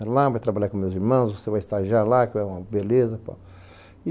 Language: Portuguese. Vai lá, vai trabalhar com meus irmãos, você vai estagiar lá, que é uma beleza.